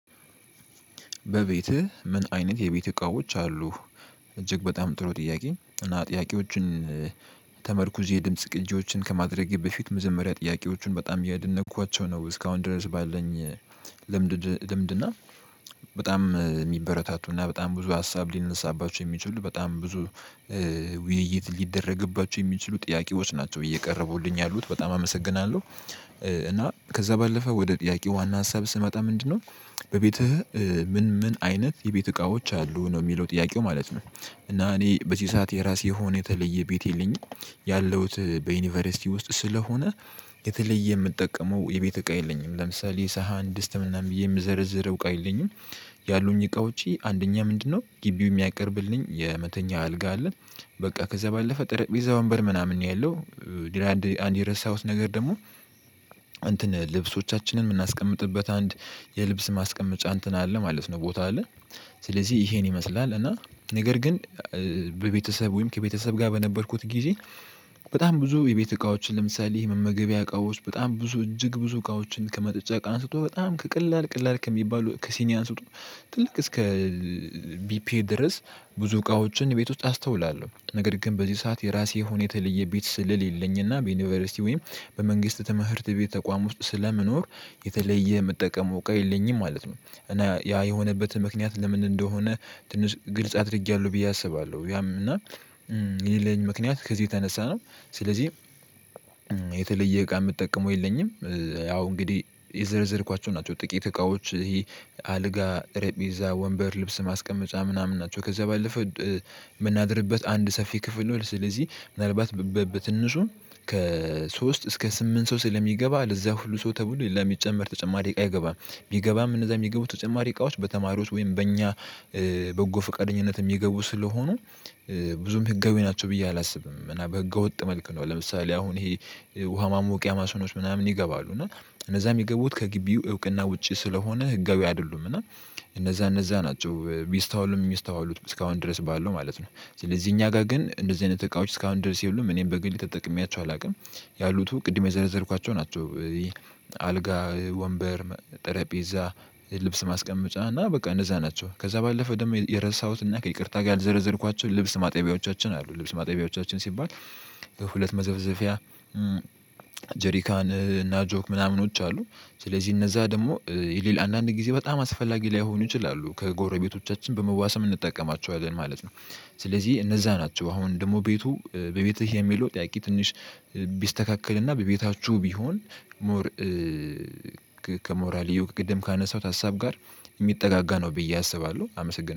በቤትህ ምን አይነት የቤት እቃዎች አሉ እጅግ በጣም ጥሩ ጥያቄ እና ጥያቄዎችን። ተመርኩዝ የድምጽ ቅጂዎችን ከማድረጌ በፊት መጀመሪያ ጥያቄዎችን በጣም እያደነኳቸው ነው እስካሁን ድረስ ባለን። ልምድ ልምድ እና በጣም የሚበረታቱና በጣም ብዙ ሀሳብ ሊነሳባቸው የሚችሉ በጣም ብዙ ውይይት ሊደረግባቸው የሚችሉ ጥያቄዎች ናቸው እየቀረቡልኝ ያሉት በጣም አመሰግናለሁ። እና ከዛ ባለፈ ወደ ጥያቄ ዋና ሀሳብ ስመጣ ምንድነው? በቤትህ ምን ምን አይነት የቤት እቃዎች አሉ ነው ሚለው ጥያቄው ማለት ነው። እና እኔ በዚህ ሰዓት የራሴ የሆነ የተለየ ቤት የለኝም ያለሁት በዩኒቨርሲቲ ውስጥ ስለሆነ። የተለየ ምጠቀመው የቤት እቃ የለኝም ለምሳሌ የሳሃን ድስት ምናም ብዬ የምዘረዝረው እቃ የለኝም። ያሉኝ እቃዎች አንደኛ ምንድነው ግቢው የሚያቀርብልኝ የመተኛ አልጋ አለ። በቃ ከዛ ባለፈ ጠረጴዛ ወንበር ምናምን ነው ያለው። ግን አንድ የረሳሁት ነገር ደግሞ። እንትን ልብሶቻችንን ምናስቀምጥበት አንድ የልብስ ማስቀመጫ እንትን አለ ማለት ነው ቦታ አለ። ስለዚህ ይሄን ይመስላል እና ነገር ግን በቤተሰብ ወይም ከቤተሰብ ጋር በነበርኩት ጊዜ። በጣም ብዙ የቤት እቃዎችን ለምሳሌ መመገቢያ እቃዎች በጣም ብዙ እጅግ ብዙ እቃዎችን ከመጠጫ እቃ አንስቶ በጣም ከቀላል ቀላል ከሚባሉ ከሲኒ አንስቶ። ትልቅ እስከ ቢፔ ድረስ። ብዙ እቃዎችን ቤት ውስጥ አስተውላለሁ ነገር ግን በዚህ ሰዓት የራሴ የሆነ የተለየ ቤት ስለለኝና በዩኒቨርሲቲ ወይም በመንግስት ትምህርት ቤት ተቋም ውስጥ ስለምኖር። የተለየ መጠቀም እቃ የለኝም ማለት ነው እና ያ የሆነበት ምክንያት ለምን እንደሆነ። ትንሽ ግልጽ አድርጌያለሁ ብዬ አስባለሁ ያም እና የሌለኝ ምክንያት ከዚህ የተነሳ ነው። ስለዚህ። የተለየ እቃ ምጠቀመው የለኝም ያው እንግዲህ የዘረዘርኳቸው ናቸው ጥቂት እቃዎች ይሄ አልጋ ጠረጴዛ ወንበር ልብስ ማስቀመጫ ምናምን ናቸው። ከዛ ባለፈው። ምናድርበት አንድ ሰፊ ክፍል ነው ስለዚህ ምናልባት በትንሹ ከሶስት እስከ ስምንት ሰው ስለሚገባ ለዛ ሁሉ ሰው ተብሎ ሌላ ሚጨመር ተጨማሪ እቃ አይገባም። ቢገባም እነዛ የሚገቡ ተጨማሪ እቃዎች በተማሪዎች ወይም በእኛ። በጎ ፍቃደኝነት ሚገቡ ስለሆኑ። ብዙም ህጋዊ ናቸው ብዬ አላስብም። እና በህገ ወጥ መልኩ ነው ለምሳሌ አሁን ይሄ። ውሃ ማሞቂያ ማሽኖች ምናምን ይገባሉ እና እነዛ የሚገቡት ከግቢው እውቅና ውጪ ስለሆነ ህጋዊ አይደሉም። እና እነዛ እነዛ ናቸው ቢስተዋሉም ሚስተዋሉት እስካሁን ድረስ ባለው ማለት ነው። ስለዚህ እኛ ጋር ግን እንደዚህ አይነት እቃዎች እስካሁን ድረስ የሉም። እኔም በግልጽ ተጠቅሜያቸው አላቅም። ያሉት ቅድም የዘረዘርኳቸው ናቸው። አልጋ ወንበር ጠረጴዛ ልብስ ማስቀመጫ እና በቃ እነዛ ናቸው። ከዛ ባለፈ ደግሞ የረሳሁት እና ከይቅርታ ጋር ያልዘረዘርኳቸው ልብስ ማጠቢያዎቻችን አሉ ልብስ ማጠቢያዎቻችን ሲባል። በሁለት መዘፍዘፊያ። ጀሪካን እና ጆክ ምናምኖች አሉ። ስለዚህ እነዛ ደግሞ ይልል አንዳንድ ጊዜ በጣም አስፈላጊ ላይሆን ይችላሉ ከጎረቤቶቻችን በመዋሰም እንጠቀማቸዋለን ማለት ነው። ስለዚህ እነዛ ናቸው አሁን ደግሞ ቤቱ በቤትህ የሚለው ጥያቄ ትንሽ ቢስተካከልና በቤታችሁ ቢሆን። ሞር ከሞራልየው ከቅድም ካነሳሁት ሀሳብ ጋር ሚጠጋጋ ነው ብዬ አስባለሁ። አመሰግናለሁ